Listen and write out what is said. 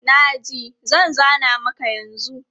Na ji, zan zana maka yanzu.